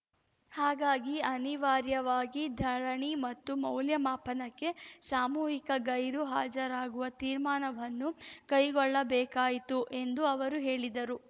ಹಾಗಾಗಿ ಅನಿವಾರ್ಯವಾಗಿ ಧರಣಿ ಮತ್ತು ಮೌಲ್ಯಮಾಪನಕ್ಕೆ ಸಾಮೂಹಿಕ ಗೈರು ಹಾಜರಾಗುವ ತೀರ್ಮಾನವನ್ನು ಕೈಗೊಳ್ಳಬೇಕಾಯಿತು ಎಂದು ಅವರು ಹೇಳಿದರು